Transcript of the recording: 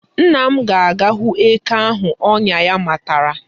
Nna m ga-aga hụ eke ahụ ọnya ya matara.